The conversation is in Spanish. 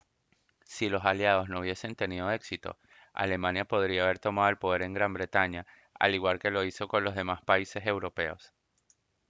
si los aliados no hubiesen tenido éxito alemania podría haber tomado el poder en gran bretaña al igual que lo hizo con los demás países europeos